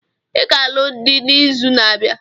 I ga-alụ dị n'izu na-abịa.